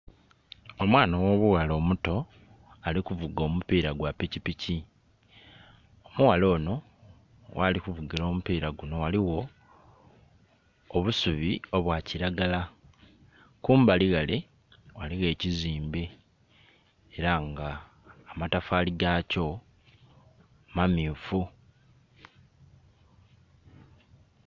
Omwaana ogh'obughala omuto ali kuvuga omupira gwa pikipiki. Omughala ono ghali kuvugila omupira guno ghaligho obusubi obwa kiragala, kumbali ghale ghaligho ekizimbe era nga amatafali ga kyo mamyufu.